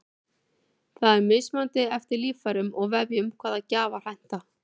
það er mismunandi eftir líffærum og vefjum hvaða gjafar henta